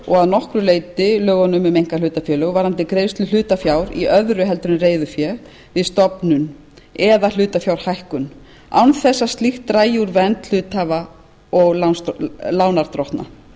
og að nokkru leyti lögunum um einkahlutafélög varðandi greiðslu hlutafjár í öðru en reiðufé við stofnun eða hlutafjárhækkun án þess að slíkt dragi úr vernd hluthafa og lánardrottna nefndin hefur